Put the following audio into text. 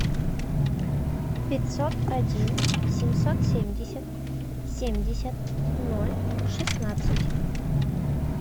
пятьсот один семьсот семьдесят семьдесят ноль шестнадцать